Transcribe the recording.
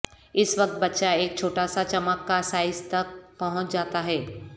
اس وقت بچہ ایک چھوٹا سا چمک کا سائز تک پہنچ جاتا ہے